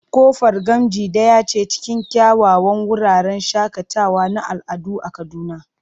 Kofar Gamji daya ce cikin kyawawan wuraren shakatawa na al'adu a Kaduna.